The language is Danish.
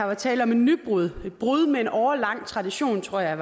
var tale om et nybrud et brud med en årelang tradition tror jeg